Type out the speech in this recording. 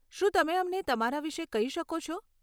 શું તમે અમને તમારા વિશે કહી શકો છો?